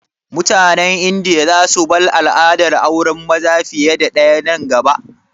Mutanen Indiya za su bar al'adar auren maza fiye da ɗaya nan gaba?